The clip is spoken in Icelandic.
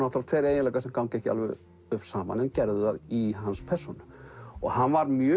tveir eiginleikar sem ganga ekki alveg upp saman en gerðu það í hans persónu hann var mjög